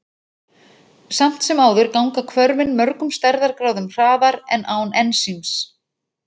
Samt sem áður ganga hvörfin mörgum stærðargráðum hraðar en án ensíms.